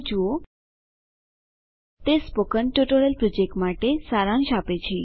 httpspoken tutorialorgWhat is a spoken tutorial તે spoken tutorial પ્રોજેક્ટનો સારાંશ આપે છે